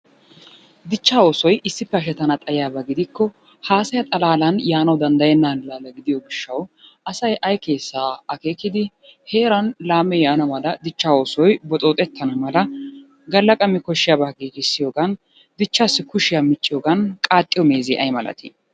Dichchaa oosoy issippe hashetana xayikko haasaya xalaalan yaanawu danddayenaaga giddiyo gishawu Asy ay keesaa akeekkidi heeran laamee yaana mala dichchaa oosoy boxxooxetana mala gala qammi koshiyabata gigissiyoogan dichaassi kushoya micciyoogan qaaxiyo meezee ay malattii?